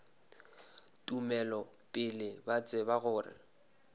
tumelo pele ba tseba gore